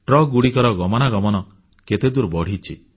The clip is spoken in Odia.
ଟ୍ରକଗୁଡ଼ିକର ଗମନାଗମନ କେତେଦୂର ବଢ଼ିଛି